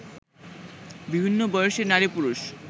বিভিন্ন বয়সের নারী-পুরুষ